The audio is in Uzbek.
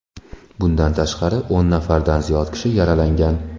Bundan tashqari, o‘n nafardan ziyod kishi yaralangan.